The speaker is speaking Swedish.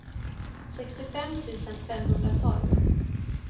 sextiofem tusen femhundratolv